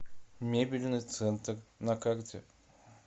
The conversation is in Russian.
мебельный центр на карте